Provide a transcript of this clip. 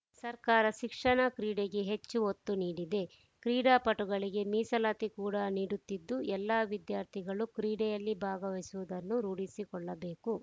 ಸರ್ಕಾರ ಶಿಕ್ಷಣ ಕ್ರೀಡೆಗೆ ಹೆಚ್ಚು ಒತ್ತು ನೀಡಿದೆ ಕ್ರೀಡಾಪಟುಗಳಿಗೆ ಮೀಸಲಾತಿ ಕೂಡಾ ನೀಡುತಿದ್ದು ಎಲ್ಲ ವಿದ್ಯಾರ್ಥಿಗಳು ಕ್ರೀಡೆಯಲ್ಲಿ ಭಾಗವಹಿಸುವುದನ್ನು ರೂಢಿಸಿಕೊಳ್ಳಬೇಕು